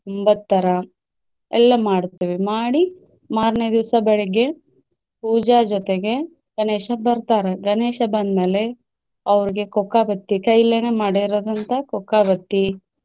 ಒಂಬತ್ತ್ ತರಾ ಎಲ್ಲ ಮಾಡ್ತೇವೆ ಮಾಡಿ ಮಾರ್ನೆ ದಿವಸಾ ಬೆಳಗ್ಗೆ ಪೂಜಾ ಜೊತೆಗೆ ಗಣೇಶ ಬರ್ತಾರೆ ಗಣೇಶ ಬಂದ್ಮೇಲೆ ಅವ್ರಗೆ ಕೊಕ್ಕಾಬತ್ತಿ ಕೈಲೇನೆ ಮಾಡಿರುವಂತ ಕೊಕ್ಕಾಬತ್ತಿ.